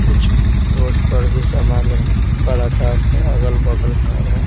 कुछ रोड पर भी सामान्य पर आकाश अगल-बगल घर है।